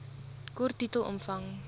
kort titel omvang